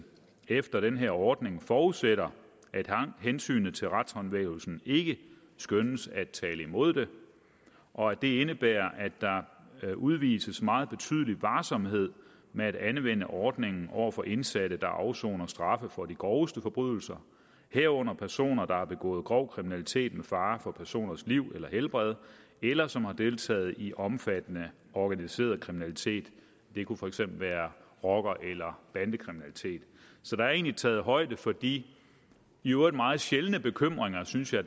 efter den her ordning forudsætter at hensynet til retshåndhævelsen ikke skønnes at tale imod det og at det indebærer at der udvises meget betydelig varsomhed med at anvende ordningen over for indsatte der afsoner straffe for de groveste forbrydelser herunder personer der har begået grov kriminalitet med fare for personers liv eller helbred eller som har deltaget i omfattende organiseret kriminalitet det kunne for eksempel være rocker eller bandekriminalitet så der er egentlig taget højde for de i øvrigt meget sjældne bekymringer synes jeg